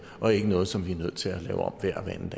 og ikke noget som vi er nødt til